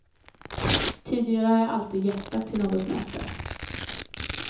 Tidigare har jag alltid jäktat till något möte.